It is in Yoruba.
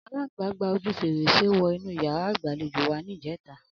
Aláǹgbá gba ojú fèrèsé wọ inú yàrá ìgbàlejò wa ní ìjẹ́ta